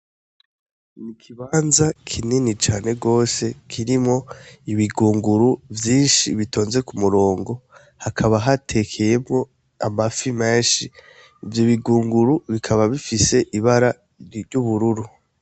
N'ikibanza kinini cane gose kirimwo ibigunguru vyinshi bitonze ku murongo, hakaba hatekeyemwo amafi menshi ivyo bigunguru bikaba bifis'ibara ry'ubururu.